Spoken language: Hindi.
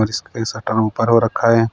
और शटर ऊपर हो रखा है।